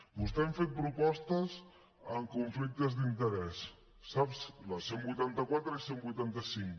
vostès han fet propostes en conflictes d’interès la cent i vuitanta quatre i cent i vuitanta cinc